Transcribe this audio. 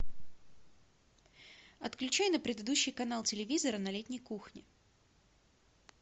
отключай на предыдущий канал телевизора на летней кухне